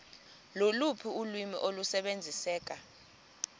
loluphi ulwimi olusebenziseka